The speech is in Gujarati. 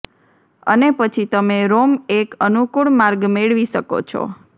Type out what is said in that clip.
અને પછી તમે રોમ એક અનુકૂળ માર્ગ મેળવી શકો છો